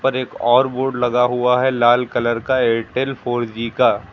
ऊपर एक और बोर्ड लगा हुआ है लाल कलर का एयरटेल फोर जी का।